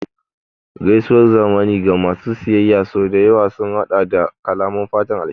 Gaisuwar zamani ga masu siyayya sau da yawa sun haɗa da kalaman fatan alheri